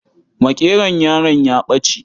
Makeron yaron ya ɓace.